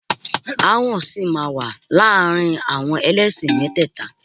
Aáwọ̀ sì máa wà láàrin àwọn ẹlẹ́sìn mẹ́tẹ́ẹ̀ta